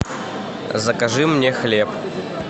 закажи мне хлеб